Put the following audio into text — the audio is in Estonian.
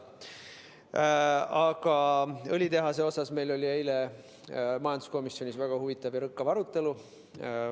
Aga õlitehase üle oli meil eile majanduskomisjonis väga huvitav ja rõkkav arutelu.